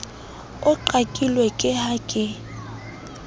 o qakile ke ha ke